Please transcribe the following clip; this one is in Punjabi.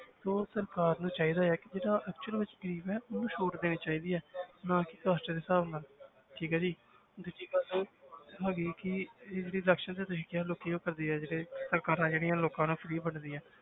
ਸੋ ਸਰਕਾਰ ਨੂੰ ਚਾਹੀਦਾ ਹੈ ਕਿ ਜਿਹੜਾ actual ਵਿੱਚ ਗ਼ਰੀਬ ਹੈ ਉਹਨੂੰ ਛੋਟ ਦੇਣੀ ਚਾਹੀਦੀ ਹੈ ਨਾ ਕੇ ਕਾਸਟਾਂ ਦੇ ਹਿਸਾਬ ਨਾਲ ਠੀਕ ਹੈ ਜੀ ਦੂਜੀ ਗੱਲ ਹੈਗੀ ਕਿ ਤੇ ਜਿਹੜੀ election ਤੇ ਤੁਸੀਂ ਕਿਹਾ ਲੋਕੀ ਉਹ ਕਰਦੇ ਆ ਜਿਹੜੇ ਸਰਕਾਰਾਂ ਜਿਹੜੀਆਂ ਲੋਕਾਂ ਨੂੰ free ਵੰਡਦੀਆਂ